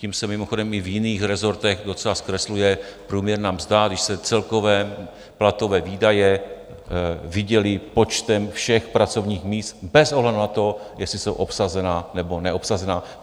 Tím se mimochodem i v jiných rezortech docela zkresluje průměrná mzda, když se celkové platové výdaje vydělí počtem všech pracovních míst bez ohledu na to, jestli jsou obsazená, nebo neobsazená.